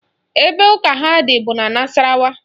Ebe ụka ha dị bụ n'Nasarawa